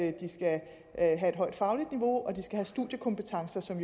at de skal have et højt fagligt niveau og at de skal have studiekompetencer som